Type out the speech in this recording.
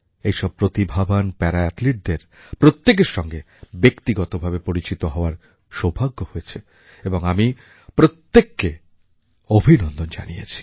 এই সব প্রতিভাবান প্যারাঅ্যাথলিটদের প্রত্যেকের সঙ্গে ব্যক্তিগতভাবে পরিচিত হওয়ার সৌভাগ্য হয়েছে এবং আমি প্রত্যেককে অভিনন্দন জানিয়েছি